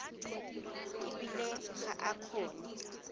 e bile ga a kgone